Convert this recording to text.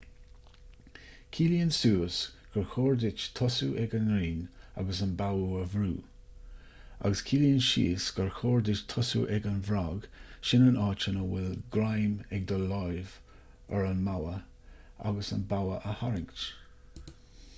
ciallaíonn suas gur chóir duit tosú ag an rinn agus an bogha a bhrú agus ciallaíonn síos gur chóir duit tosú ag an bhfrog sin an áit a bhfuil greim ag do lámh ar an mbogha agus an bogha a tharraingt